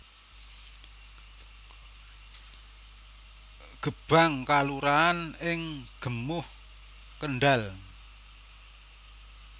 Gebang kelurahan ing Gemuh Kendhal